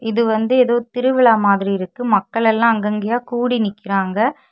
இது வந்து ஏதோ திருவிழா மாதிரி இருக்கு மக்கள் எல்லாம் அங்கங்கே கூடி நிக்கிறாங்க.